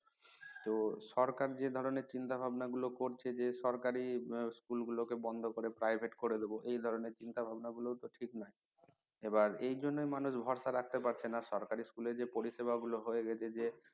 তো সরকার যে ধরনের চিন্তা ভাবনা গুলো করছে যে সরকারি school গুলো কে বন্ধ করে private করে দেব এই ধরনের চিন্তা ভাবনা গুলো ও তো ঠিক নয় আবার এই জন্যই মানুষ ভরসা রাখতে পারছেনা সরকারি school এ যে পরিষেবা গুলো হয়ে গেছে যে